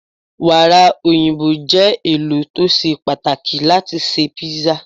Wàrà òyìnbó je ẹlò to ṣe pàtàkì láti ṣe písà.